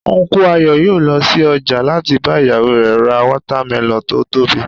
Unku Ayo yòó lọ sí ọjà láti bá ìyàwó rẹ̀ ra watermelon tó tóbi